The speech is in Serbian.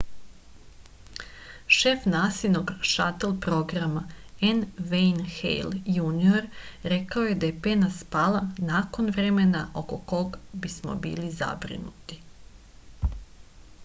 šef nasinog šatl programa n vejn hejl junior rekao je da je pena spala nakon vremena oko kog bismo bili zabrinuti